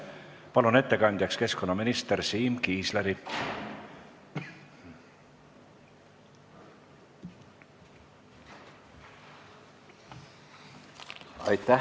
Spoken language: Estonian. Palun ettekandjaks keskkonnaminister Siim Kiisleri!